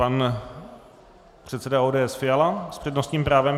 Pan předseda ODS Fiala s přednostním právem.